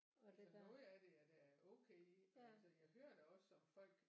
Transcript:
Altså noget af det er da okay og altså jeg hører da også om folk